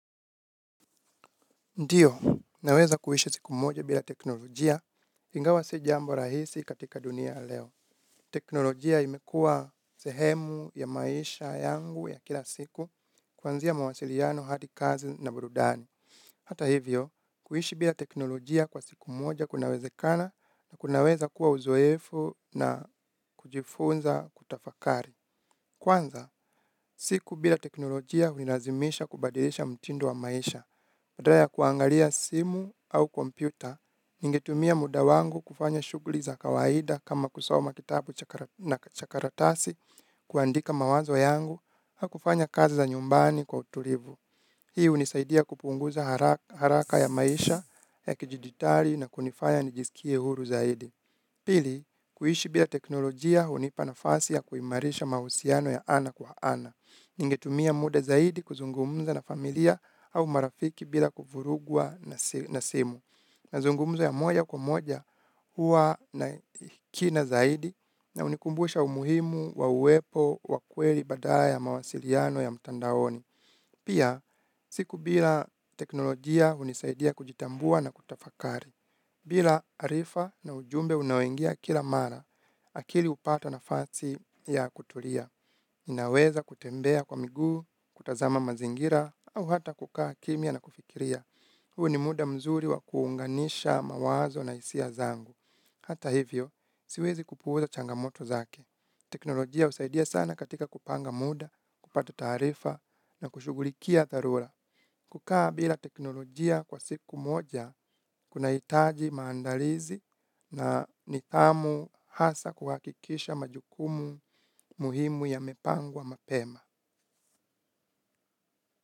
Ndiyo, naweza kuishi siku moja bila teknolojia ingawa si jambo rahisi katika ya dunia leo. Teknolojia imekua sehemu ya maisha yangu ya kila siku kuanzia mawasiliano hadi kazi na burudani. Hata hivyo, kuishi bila teknolojia kwa siku moja kunawezekana na kunaweza kuwa uzoefu na kujifunza kutafakari. Kwanza, siku bila teknolojia hunilazimisha kubadilisha mtindo wa maisha. Badala ya kuangalia simu au kompyuta, ningetumia muda wangu kufanya shuguli za kawaida kama kusoma kitabu na cha karatasi, kuandika mawazo yangu, au kufanya kazi za nyumbani kwa utulivu. Hii hunisaidia kupunguza haraka ya maisha, ya kijiditari na kunifaya nijisikie huru zaidi. Pili, kuishi bila teknolojia hunipa nafasi ya kuimarisha mahusiano ya ana kwa ana. Ningetumia muda zaidi kuzungumza na familia au marafiki bila kufurugwa na simu. Mazungumzo ya moja kwa moja huwa na kina zaidi na hunikumbusha umuhimu wa uwepo wa kweli badala ya mawasiliano ya mtandaoni. Pia, siku bila teknolojia hunisaidia kujitambua na kutafakari. Bila arifa na ujumbe unaoingia kila mara, akili hupata nafasi ya kutulia. Ninaweza kutembea kwa miguu, kutazama mazingira, au hata kukaa kimya na kufikiria. Huu ni muda mzuri wa kuunganisha mawazo na hisia zangu. Hata hivyo, siwezi kupuuza changamoto zake. Teknolojia husaidia sana katika kupanga muda, kupata taarifa na kushugulikia dharura. Kukaa bila teknolojia kwa siku moja, kunahitaji maandalizi na nithamu hasa kuhakikisha majukumu muhimu yamepangwa mapema.